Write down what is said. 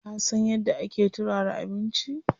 Ka san yadda ake turara abinci?